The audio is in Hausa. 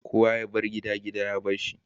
Kowa yabar gida, gida ya barsa.